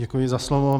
Děkuji za slovo.